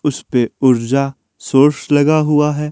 उसे पे ऊर्जा सोर्स लगा हुआ है।